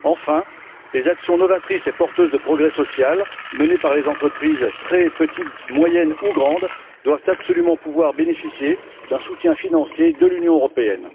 Enfin, les actions novatrices et porteuses de progrès social menées par les entreprises, qu'elles soient très petites, moyennes ou grandes, doivent absolument pouvoir bénéficier d'un soutien financier de l'Union européenne.